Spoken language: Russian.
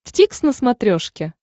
дтикс на смотрешке